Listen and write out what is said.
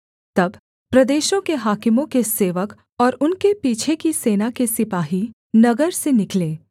तब प्रदेशों के हाकिमों के सेवक और उनके पीछे की सेना के सिपाही नगर से निकले